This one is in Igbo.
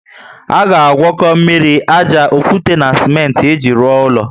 A ga agwako mmiri, ájá, okwute na simenti iji rụọ ulo